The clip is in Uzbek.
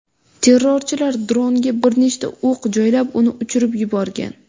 Terrorchilar dronga bir nechta o‘q joylab, uni uchirib yuborgan.